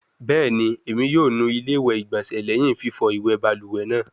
Bẹẹni, Emi yoo nu ile igbonse lẹhin fifọ iwẹ baluwe naa